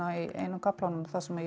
í einum kaflanum þar sem ég